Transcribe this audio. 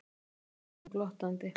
spyr hún glottandi.